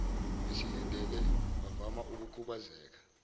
besindile bavama ukukhubazeka